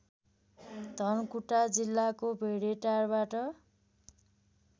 धनकुटा जिल्लाको भेडेटारबाट